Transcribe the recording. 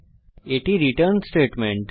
এটি আমাদের return statement